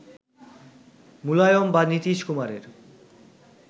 মুলায়ম বা নীতীশ কুমারের